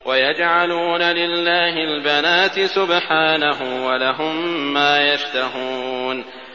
وَيَجْعَلُونَ لِلَّهِ الْبَنَاتِ سُبْحَانَهُ ۙ وَلَهُم مَّا يَشْتَهُونَ